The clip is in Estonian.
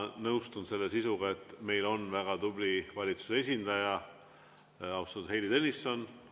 Ma nõustun selle sisuga, et meil on väga tubli valitsuse esindaja, austatud Heili Tõnisson.